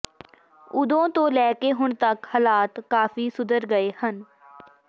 ਉਦੋਂ ਤੋਂ ਲੈ ਕੇ ਹੁਣ ਤਕ ਹਾਲਾਤ ਕਾਫੀ ਸੁਧਰ ਗਏ ਹਨ